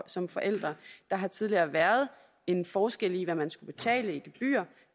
som forældre der har tidligere været en forskel i hvad man skulle betale i gebyr